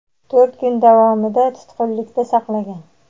to‘rt kun davomida tutqunlikda saqlagan.